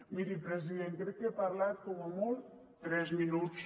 miri president crec que he parlat com a molt tres minuts